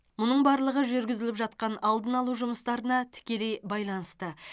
мұның барлығы жүргізіліп жатқан алдын алу жұмыстарына тікелей байланысты